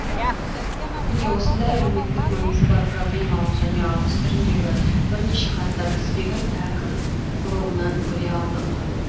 міне осындай әлеуметтік маңызы бар проблемалық және алғыс түріндегі бірнеше хаттар тізбегін әкім блогынан көре алдық